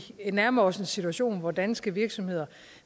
nærmer os en situation hvor danske virksomheder